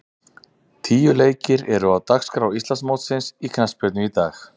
Tíu leikir eru á dagskrá Íslandsmótsins í knattspyrnu í dag.